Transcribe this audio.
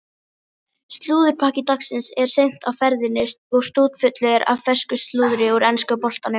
Slúðurpakki dagsins er seint á ferðinni og stútfullur af fersku slúðri úr enska boltanum.